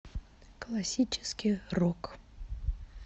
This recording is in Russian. классический рок